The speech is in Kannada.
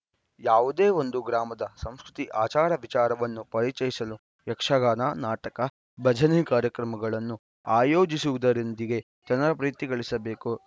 ಯಾವುದೇ ಒಂದು ಗ್ರಾಮದ ಸಂಸ್ಕೃತಿ ಆಚಾರ ವಿಚಾರವನ್ನು ಪರಿಚಯಿಸಲು ಯಕ್ಷಗಾನ ನಾಟಕ ಭಜನೆ ಕಾರ್ಯಕ್ರಮಗಳನ್ನು ಆಯೋಜಿಸುವುದರೊಂದಿಗೆ ಜನರ ಪ್ರೀತಿ ಗಳಿಸಬೇಕು